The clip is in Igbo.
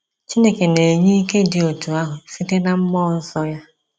Chineke na-enye ike dị otu ahụ site na mmụọ nsọ ya.